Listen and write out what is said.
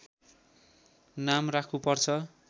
नाम राख्नु पर्छ